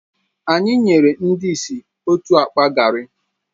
Anyị nyere ndị ìsì otu akpa garri